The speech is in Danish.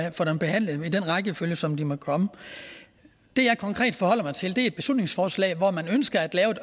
og få dem behandlet i den rækkefølge som de måtte komme det jeg konkret forholder mig til er et beslutningsforslag hvor man ønsker at lave et